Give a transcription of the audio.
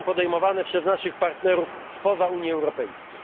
nie są podejmowane przez naszych partnerów spoza Unii Europejskiej.